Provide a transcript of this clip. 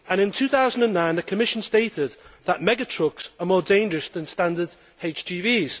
In 2009 the Commission stated that mega trucks are more dangerous than standard HGVs.